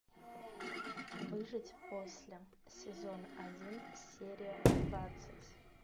выжить после сезон один серия двадцать